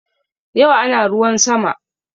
Yau ana ruwan sama